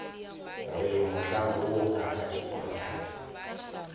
re mohlang woo ngaka thedimogane